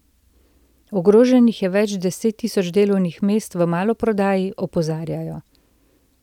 Ogroženih je več desettisoč delovnih mest v maloprodaji, opozarjajo.